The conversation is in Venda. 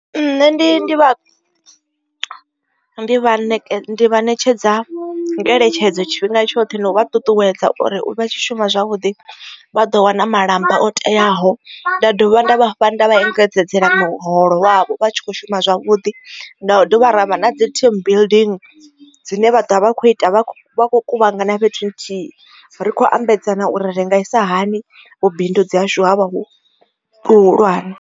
Nṋe ndi ndi vha ndi vha ne vha ṋetshedza ngeletshedzo tshifhinga tshoṱhe na u vha ṱuṱuwedza uri vha tshi shuma zwavhuḓi vha ḓo wana malamba o teaho. Nda dovha nda vhafha nda vha engedzedzea muholo wavho vha tshi kho shuma zwavhuḓi nda dovha ravha na dzi team building dzine vha ḓovha vha kho ita vha vha khou kuvhangana fhethu nthihi ri kho ambedzana u renga isa hani vhu bindudzi hashu ha vha hu hulwane.